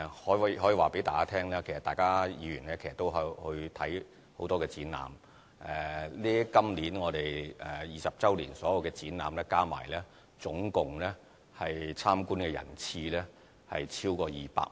我可以告訴大家，其實議員也參觀很多展覽，今年20周年所有展覽加起來，總共參觀人次超過200萬。